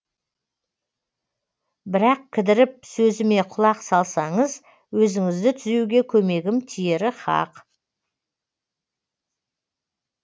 бірақ кідіріп сөзіме құлақ салсаңыз өзіңізді түзеуге көмегім тиері хақ